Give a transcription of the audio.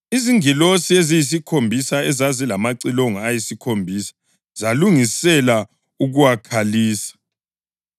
Izingilosi eziyisikhombisa ezazilamacilongo ayisikhombisa zalungisela ukuwakhalisa.